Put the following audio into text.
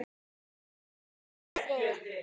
að í ást og friði